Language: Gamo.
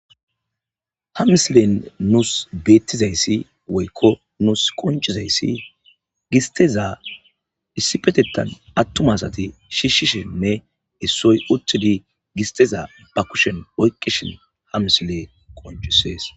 ha mislen nuus beettizayssi woykko nuus qonchizayssi gisteza issipetetan attum asati shishishime issoy uttidi gisteza ba kushen oyqqishin ha misile qonchisees